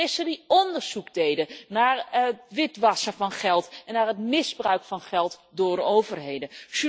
Journalisten die onderzoek deden naar witwassen van geld en naar het misbruik van geld door overheden.